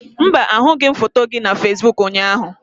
Mba, ahụghị m foto gị na Fesiboku ụnyaahụ.